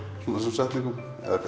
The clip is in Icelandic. þessum setningum